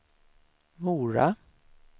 Mora